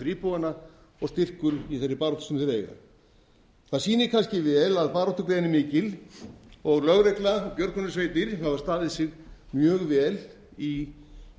íbúana og styrkur í þeirri baráttu sem þeir eiga í það sýnir kannski vel að baráttugleðin er mikil og lögregla og björgunarsveitir hafa staðið sig mjög vel í